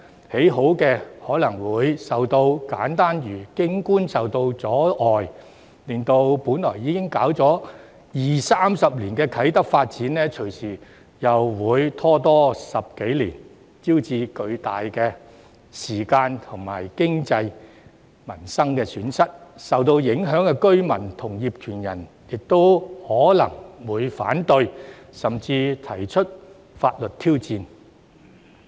已建好的可能景觀會受到阻礙，令本來已發展二三十年的啟德發展，隨時又再拖延10多年，招致巨大的時間和經濟損失，受到影響的居民和業權人亦可能會反對，甚至提出法律挑戰。